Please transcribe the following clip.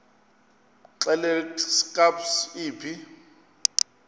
xelel kabs iphi